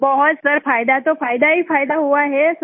बहुत सर फायदा तो फायदा ही फायदा हुआ है सर